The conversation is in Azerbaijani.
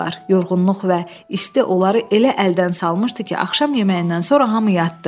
Yorğunluq və isti onları elə əldən salmışdı ki, axşam yeməyindən sonra hamı yatdı.